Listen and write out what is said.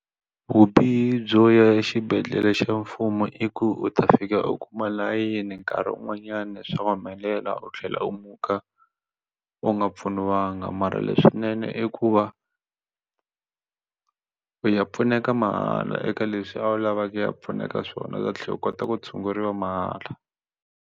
Vubihi byo ya xibedhlele xa mfumo i ku u ta fika u kuma layini nkarhi wun'wanyani swa humelela u tlhela u muka u nga pfuniwanga mara leswinene i ku va u ya pfuneka mahala eka leswi a wu lava ku ya pfuneka swona u ta tlhela u kota ku tshunguriwa mahala.